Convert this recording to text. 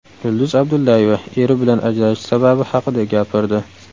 Yulduz Abdullayeva eri bilan ajrashish sababi haqida gapirdi .